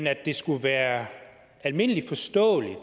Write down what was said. at det skulle være almindelig forståeligt